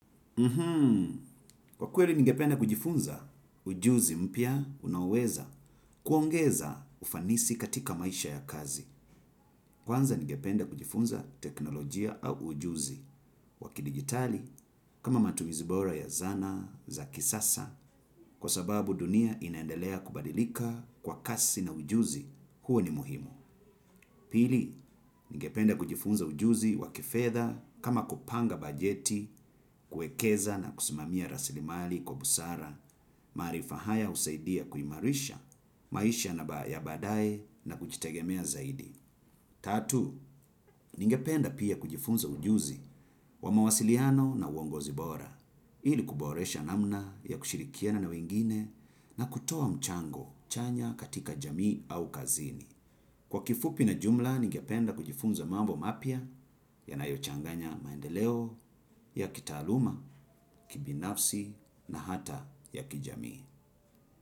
Mhmm, kwa kuweli ningependa kujifunza, ujuzi mpya unaweza kuongeza ufanisi katika maisha ya kazi. Kwanza ngependa kujifunza teknolojia au ujuzi wa kidigitali, kama matumizi bora ya dhana za kisasa, kwa sababu dunia inaendelea kubadilika kwa kasi, na ujuzi huo ni muhimu. Pili, ningependa kujifunza ujuzi wa kifedha kama kupanga bajeti, kuwekeza na kusimamia rasilimali kwa busara, maarifa haya husaidia kuimarisha, maisha ya baadaye na kujitegemea zaidi. Tatu, ningependa pia kujifunza ujuzi wa mawasiliano na uongozi bora, ili kuboresha namna ya kushirikiana na wengine na kutoa mchango chanya katika jamii au kazini. Kwa kifupi na jumla ningyapenda kujifunza mambo mapya yanayochanganya maendeleo ya kitaaluma, kibinafsi na hata ya kijamii.